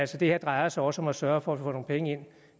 det her drejer sig også om at sørge for at man får nogle penge ind